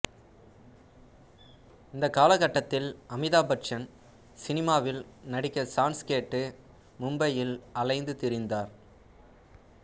இந்த காலகட்டத்தில் அமிதாப் பச்சன் சினிமாவில் நடிக்க சான்ஸ் கேட்டு மும்பையில் அலைந்து திரிந்தார்